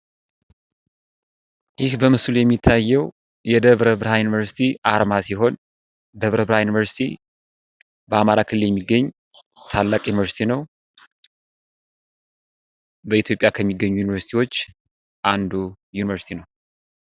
ይህ በምስሉ ላይ የሚታየው የደብረ ብርሃን ዩኒቨርሲቲ አርማ ሲሆን በአማራ ክልል የሚገኝ ታላቅ ዩኒቨርሲቲ ነው። ደብረ ብርሃን ዩኒቨርሲቲ በኢትዮጲያ ከሚገኙ ዩኒቨርሲቲዎች አንዱ ዩኒቨርሲቲ ነው።